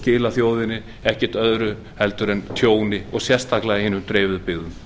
skilað þjóðinni ekki öðru en tjóni sérstaklega hinum dreifðu byggðum